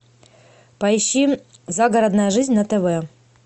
поищи загородная жизнь на тв